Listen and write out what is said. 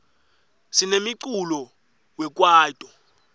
sinemiculo we kwaito